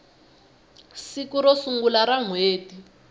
siku ro sungula ra nhweti